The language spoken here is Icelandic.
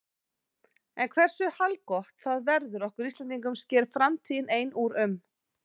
En hversu haldgott það verður okkur Íslendingum sker framtíðin ein úr um.